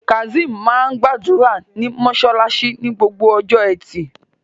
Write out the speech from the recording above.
Kazeem máa ń gbàdúrà ní mosálásí ní Gbogbo ọjọ́ ẹtì